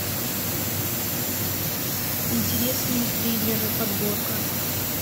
интересные триллеры подборка